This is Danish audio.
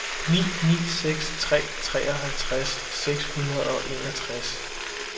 ni ni seks tre treoghalvtreds seks hundrede og enogtres